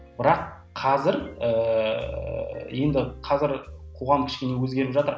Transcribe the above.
бірақ қазір ыыы енді қазір қоғам кішкене өзгеріп жатыр